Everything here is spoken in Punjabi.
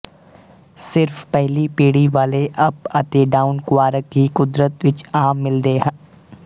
ਸਿਰਫ ਪਹਿਲੀ ਪੀੜੀ ਵਾਲੇ ਅੱਪ ਅਤੇ ਡਾਊਨ ਕੁਆਰਕ ਹੀ ਕੁਦਰਤ ਵਿੱਚ ਆਮ ਮਿਲਦੇ ਹਨ